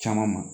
Caman ma